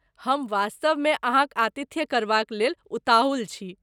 हम वास्तवमे अहाँक आतिथ्य करबाक लेल उताहुल छी।